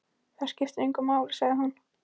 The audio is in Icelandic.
Það skiptir engu máli, sagði hún.